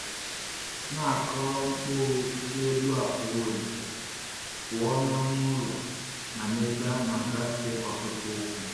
Na-akọrọ mkpụrụ n’elu akwa e welitere, pụọ na anụ ụlọ na ebe a na-agafe ọtụtụ ụkwụ.